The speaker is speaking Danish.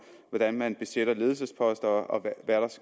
hvordan man besætter ledelsesposter og hvad